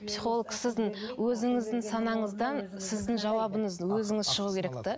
психолог сіздің өзіңіздің санаңыздан сіздің жауабыңызды өзіңіз шығу керек те